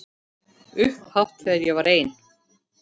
Upphátt þegar ég var ein.